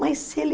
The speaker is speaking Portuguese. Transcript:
Mas se ele